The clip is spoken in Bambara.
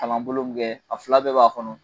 Kalanbolo min kɛ a fila bɛɛ b'a kɔnɔ